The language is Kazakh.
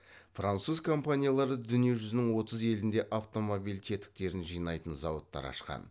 француз компаниялары дүние жүзінің отыз елінде автомобиль тетіктерін жинайтын зауыттар ашқан